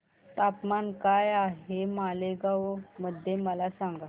तापमान काय आहे मालेगाव मध्ये मला सांगा